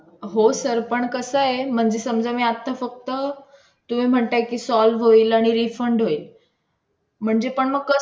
ते म्हटले ठीक आहे हे पण चांगलं आहे रोजचं म्हणलं की सकाळचा नाश्ता पोहे खिचडी उपमा हे असतो त्याच्यानंतर.